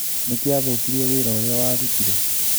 Nĩkĩ athũkirie wĩra ũrĩa warutire?